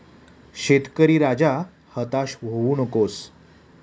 शेतकरी राजा, हताश होऊ नकोस...